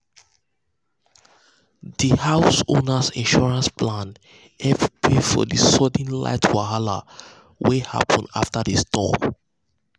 the house owner insurance plan help pay for the sudden light wahala wey wey happen after the storm.